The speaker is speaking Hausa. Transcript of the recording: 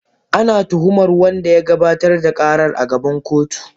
Ana tuhumar wanda ya gabatar da karar a gaban kotu.